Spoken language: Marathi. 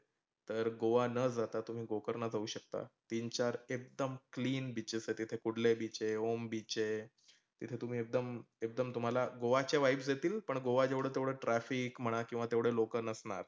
तर गोवा न जाता तुम्ही गोकर्णला जाऊ शकता. तीन चार एकदम clean beaches तीथे कुडलय beach आहे, ओम beach आहे. तिथे तुम्ही एकदम एकदम तुम्हाला गोवाच्या vibes येतील. पण गोवा जेवढे तेवढे traffic किंवा तेवढे लोक नसणार.